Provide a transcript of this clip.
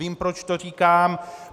Vím, proč to říkám.